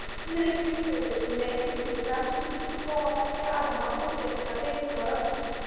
Faðmur er skilgreindur sem lengdin milli fremstu fingurgóma beggja arma útréttra beint frá öxlum.